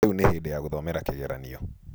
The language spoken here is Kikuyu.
Rĩu nĩ hĩndĩ ya gũthomera kĩgeranio.